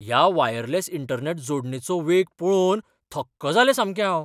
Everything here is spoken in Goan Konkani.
ह्या वायरलेस इंटरनॅट जोडणेचो वेग पळोवन थक्क जालें सामकें हांव.